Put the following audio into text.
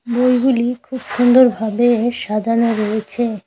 বইগুলি খুব সুন্দরভাবে সাজানো রয়েছে।